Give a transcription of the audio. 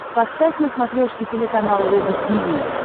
поставь на смотрешке телеканал рубль ти ви